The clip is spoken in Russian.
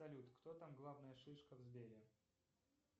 салют кто там главная шишка в сбере